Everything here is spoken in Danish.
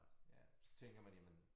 Ja så tænker man jamen